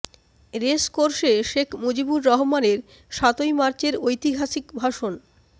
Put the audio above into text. race কোর্সে শেখ মুজিবুর রহমানের সাতই মার্চের ঐতিহাসিক ভাষণ